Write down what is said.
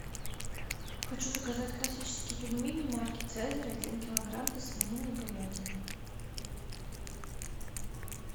хочу заказать классические пельмени марки цезарь один килограмм со свининой и говядиной